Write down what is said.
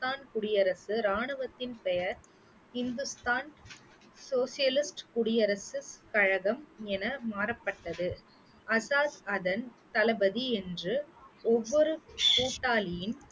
ஹிந்துஸ்தான் குடியரசு ராணுவத்தின் பெயர் ஹிந்துஸ்தான் சோஷியலிஸ்ட் குடியரசு கழகம் என மாறப்பட்டது ஆசாத் அதன் தளபதி என்று ஒவ்வொரு கூட்டாளியின்